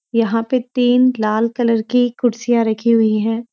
यहाँ पे तीन लाल कलर की कुर्सियाँ रखी हुई हैं।